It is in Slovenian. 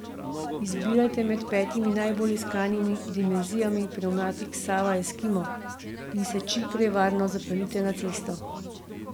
Izbirajte med petimi najbolj iskanimi dimenzijami pnevmatik Sava Eskimo in se čim prej varno zapeljite na cesto.